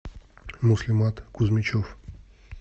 муслимат кузьмичев